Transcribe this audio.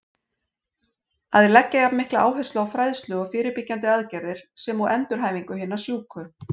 Að leggja jafn mikla áherslu á fræðslu og fyrirbyggjandi aðgerðir, sem og endurhæfingu hinna sjúku.